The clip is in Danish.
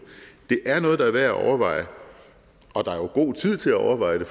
det er noget der er værd at overveje og der er jo god tid til at overveje det